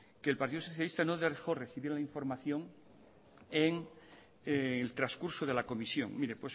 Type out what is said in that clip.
que el partido socialista no dejó de recibir la información en el transcurso de la comisión mire